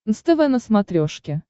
нств на смотрешке